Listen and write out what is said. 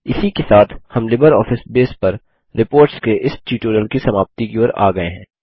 इसी के साथ हम लिबरऑफिस बेस पर रिपोर्ट्स के इस ट्यूटोरियल की समाप्ति की ओर आ गये हैं